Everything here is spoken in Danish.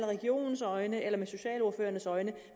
regionens øjne eller med socialordførernes øjne